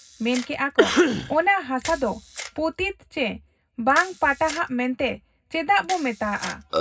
ᱢᱮᱱᱠᱮᱜ ᱟ ᱠᱚ ᱚᱱᱟ ᱦᱟᱥᱟ ᱫᱚ ᱯᱚᱛᱤᱛ ᱪᱤ ᱵᱟᱝ ᱯᱟᱴᱟᱦᱟᱜ ᱢᱮᱱᱛᱮ ᱪᱮᱫᱟᱜ ᱵᱚ ᱢᱮᱛᱟᱜᱟᱜ ᱟ ?